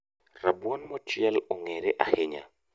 Rabuon mochiel ong'ere ahinya